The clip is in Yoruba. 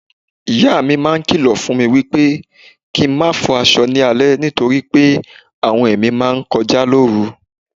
Ìyámi máa ń kìlọ̀ fúnmi wípé kín n máa fọ aṣọ ni alẹ́ nítorí pé àwọn ẹ̀mí máa ńkọjá lóru.